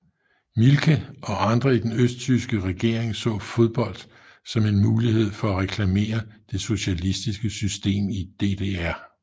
Mielke og andre i den østtyske regering så fodbold som en mulighed for at reklamere det socialistiske system i DDR